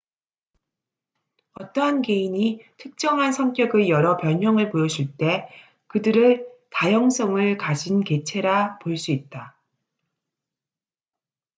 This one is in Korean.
어떠한 개인이 특정한 성격의 여러 변형을 보여줄 때 그들을 다형성을 가진 개체라 볼 수 있다